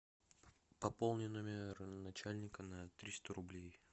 пополни номер начальника на триста рублей